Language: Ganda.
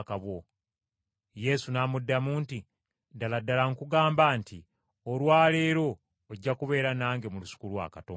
Yesu n’amuddamu nti, “Ddala ddala nkugamba nti olwa leero ojja kubeera nange mu Lusuku lwa Katonda.”